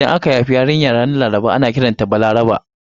Idan aka haifi yarinya ranar Laraba ana kiranta da 'Balaraba' a kasar Hausa.